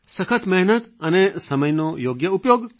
સખત મહેનત અને સમયનો યોગ્ય ઉપયોગ